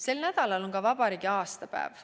Sel nädalal on vabariigi aastapäev.